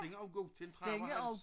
Den er også god til til ham og hans